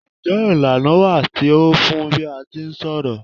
Njé ìlànà wà tí o fun n bi a ti ń ṣọ̀rọ̀?